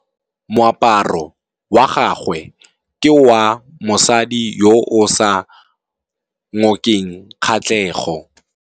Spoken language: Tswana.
Moaparô wa gagwe ke wa mosadi yo o sa ngôkeng kgatlhegô.